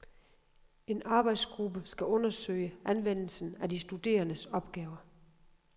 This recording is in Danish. En arbejdsgruppe skal undersøge anvendelsen af de studerendes opgaver.